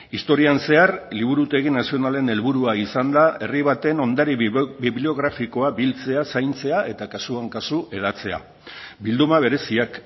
historian zehar liburutegi nazionalen helburua izan da herri baten ondare bibliografikoa biltzea zaintzea eta kasuan kasu hedatzea bilduma bereziak